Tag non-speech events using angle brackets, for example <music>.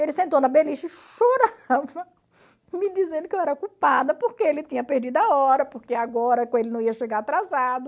Ele sentou na beliche e chorava, me dizendo que eu era culpada, porque ele tinha perdido a hora, porque agora <unintelligible> ele não ia chegar atrasado.